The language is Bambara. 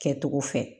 Kɛcogo fɛ